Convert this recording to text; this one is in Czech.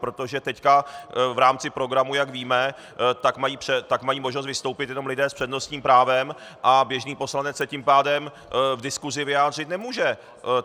Protože teď v rámci programu, jak víme, tak mají možnost vystoupit jenom lidé s přednostním právem a běžný poslanec se tím pádem v diskusi vyjádřit nemůže.